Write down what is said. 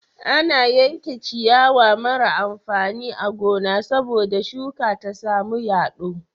Ana yanke ciyawa mara amfani a gona sabo da shuka ta samu yado